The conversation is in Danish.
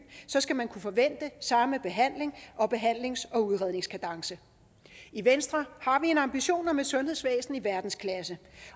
skal man kunne forvente samme behandling og behandlings og udredningskadence i venstre har vi en ambition om et sundhedsvæsen i verdensklasse